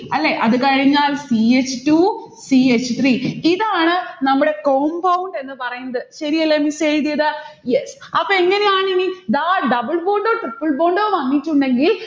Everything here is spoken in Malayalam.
അല്ലെ? അതുകഴിഞ്ഞാൽ c h two c h three. ഇതാണ് നമ്മുടെ compund എന്ന് പറയുന്നത്. ശരിയല്ലേ miss എഴുതിയത്? yes അപ്പൊ എങ്ങനെയാണിനി? ദാ double bond ഓ triple bond ഓ വന്നിട്ടുണ്ടെങ്കിൽ